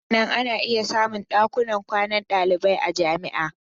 Hakanan ana iya samun dakunan kwanan dalibai a jami'a.